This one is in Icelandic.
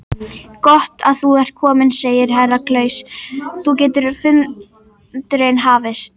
Gott að þú ert kominn, sagði Herra Kláus, þá getur fundurinn hafist.